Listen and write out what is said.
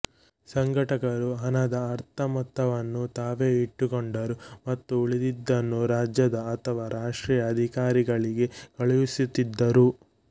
ಸಂಘಟಕರು ಹಣದ ಅರ್ಧ ಮೊತ್ತವನ್ನು ತಾವೇ ಇಟ್ಟುಕೊಂಡರು ಮತ್ತು ಉಳಿದಿದ್ದನ್ನು ರಾಜ್ಯದ ಅಥವಾ ರಾಷ್ಟ್ರೀಯ ಅಧಿಕಾರಿಗಳಿಗೆ ಕಳುಹಿಸುತ್ತಿದ್ದರು